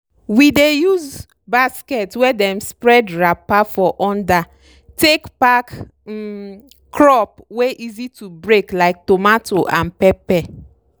we dey use basket wey dem spread wrapper for under take pack um crop wey easy to break like tomato and pepper.